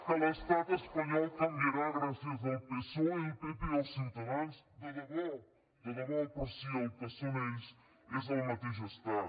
que l’estat espanyol canviarà gràcies al psoe al pp o ciutadans de debò de debò però si el que són ells és el mateix estat